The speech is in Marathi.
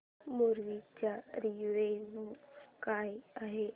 मूवी चा रिव्हयू काय आहे